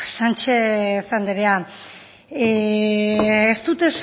sánchez andrea ez dut